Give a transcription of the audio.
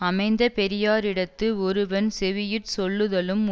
அமைந்த பெரியாரிடத்து ஒருவன் செவியுட் சொல்லுதலும்